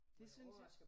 Det synes jeg